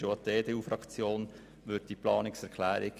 Auch die EDU-Fraktion unterstützt diese Planungserklärung.